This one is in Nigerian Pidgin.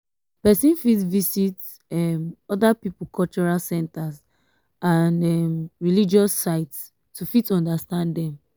person fit visit um oda pipo cultural centers and um religious um sites to fit understand dem